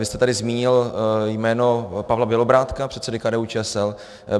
Vy jste tady zmínil jméno Pavla Bělobrádka, předsedy KDU-ČSL.